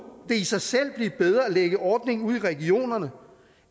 det i sig selv blive bedre at lægge ordningen ud i regionerne